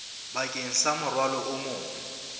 bakeng sa morwalo o mong